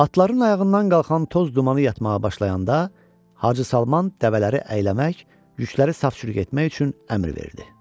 Atların ayağından qalxan toz dumanı yatmağa başlayanda Hacı Salman dəvələri əyləmək, yükləri saf-çürük etmək üçün əmr verdi.